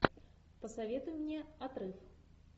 посоветуй мне отрыв